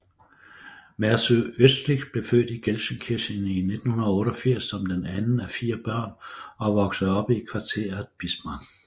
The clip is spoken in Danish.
Mesut Özil blev født i Gelsenkirchen i 1988 som den anden af fire børn og voksede op i kvarteret Bismarck